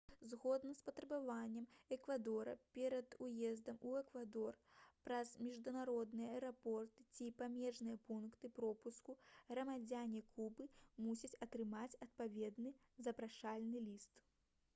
згодна з патрабаваннем эквадора перад уездам у эквадор праз міжнародныя аэрапорты ці памежныя пункты пропуску грамадзяне кубы мусяць атрымаць адпаведны запрашальны ліст